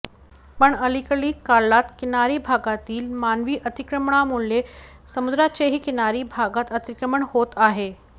पण अलिकडील काळात किनारी भागातील मानवी अतिक्रमणामुळे समुद्राचेही किनारीभागात अतिक्रमण होत आहे